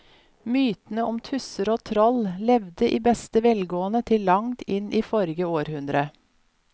Mytene om tusser og troll levde i beste velgående til langt inn i forrige århundre.